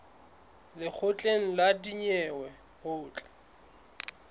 lekgotleng la dinyewe ho tla